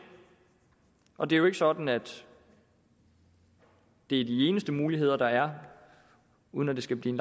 og det er jo ikke sådan at det er de eneste muligheder der er uden at det skal blive